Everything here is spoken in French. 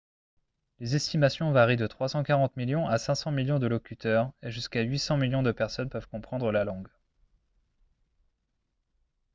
les estimations varient de 340 millions à 500 millions de locuteurs et jusqu'à 800 millions de personnes peuvent comprendre la langue